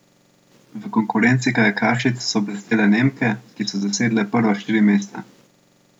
V konkurenci kajakašic so blestele Nemke, ki so zasedle prva štiri mesta.